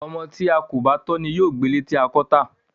Ọmọ tí a kò bá tọ́ ni yóò gbẹ ilé tí a bá kọ́ tà.